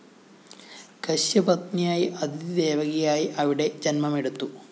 കശ്യപപത്‌നിയായ അദിതി ദേവകിയായി അവിടെ ജന്മമെടുത്തു